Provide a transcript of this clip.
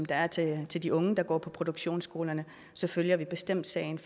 der er til til de unge som går på produktionsskolerne så følger vi bestemt sagen